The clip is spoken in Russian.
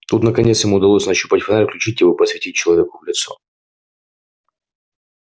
тут наконец ему удалось нащупать фонарь включить его и посветить человеку в лицо